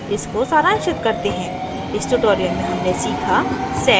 इसको सारांशित करते हैं इस tutorial में हमने सीखा sed